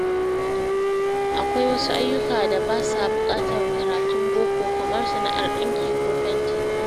Akwai wasu ayyuka da ba sa buƙatar karatun boko, kamar sana’ar ɗinki ko fenti.